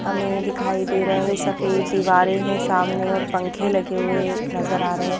हमें दिखाई दे रहा है सफेद दीवारें हैं सामने और पंखे लगे हुए नजर आ रहे हैं।